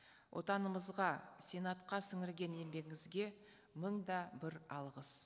отанымызға сенатқа сіңірген еңбегіңізге мың да бір алғыс